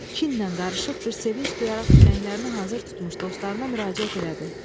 Kinlə qarışıq bir sevinc duyaraq tüfənglərini hazır tutmuş dostlarına müraciət elədi.